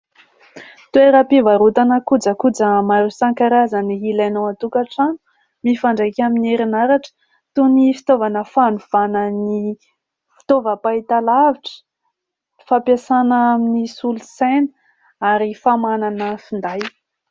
Toeram-pivarotana kojakoja maro isan-karazany ilainao an-tokatrano mifandraika amin'ny herinaratra toy ny fitaovana fanovana ny fitaovam-pahitalavitra, fampiasana amin'ny solosaina ary famahanana finday.